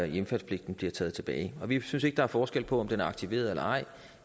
hjemfaldspligten bliver taget tilbage vi synes ikke der er forskel på om den er aktiveret eller ej